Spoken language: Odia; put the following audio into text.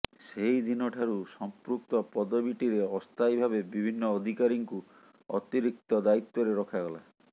ସେହିଦିନ ଠାରୁ ସଂପୃକ୍ତ ପଦବୀଟିରେ ଅସ୍ଥାୟୀ ଭାବେ ବିଭିନ୍ନ ଅଧିକାରୀଙ୍କୁ ଅତିରିକ୍ତ ଦାୟୀତ୍ୱରେ ରଖାଗଲା